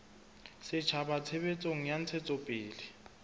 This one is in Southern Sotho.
setjhaba tshebetsong ya ntshetsopele ya